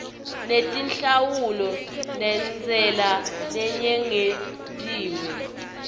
netinhlawulo nentsela leyengetiwe